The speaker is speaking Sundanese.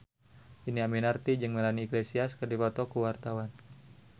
Dhini Aminarti jeung Melanie Iglesias keur dipoto ku wartawan